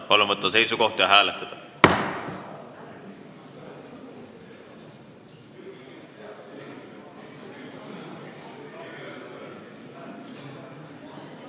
Palun võtta seisukoht ja hääletada!